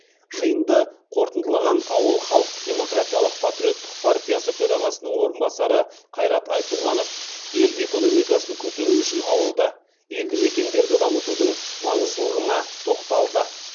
жиынды қорытындылаған ауыл халықтық демократиялық патриоттық партиясы төрағасының орынбасары қайрат айтуғанов ел экономикасын көтеру үшін ауылды елді мекендерді дамытудың маңыздылығына тоқталды